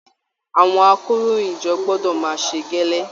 Àwọn àkòróyinjọ́ gbọdọ máa ṣe gẹ́lẹ́.